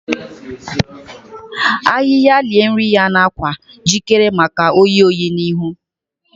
Ahịhịa lie nri ya n’akwa, jikere maka oyi oyi n’ihu.